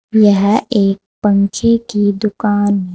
यह एक पंखे की दुकान--